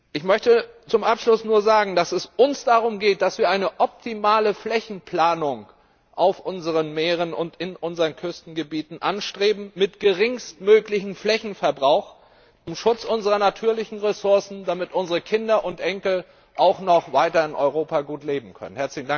Ich möchte zum Abschluss nur sagen, dass es uns darum geht, dass wir eine optimale Flächenplanung auf unseren Meeren und in unseren Küstengebieten mit geringstmöglichem Flächenverbrauch zum Schutz unserer natürlichen Ressourcen anstreben, damit unsere Kinder und Enkel auch noch weiter in Europa gut leben können.